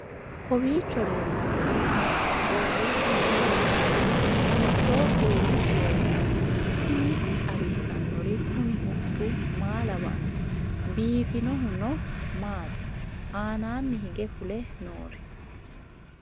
kowiicho leellannori maati ? qooxeessu maa lawaanno ? hiitoo kuuli leellanno ? tini xawissannori kuni huxxu maa lawanno biifinohuno maati aananni hige fule noori